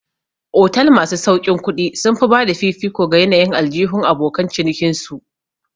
Otal masu sauƙin kuɗi sun fi bada fifiko ga yanayin aljihun abokan cinikin su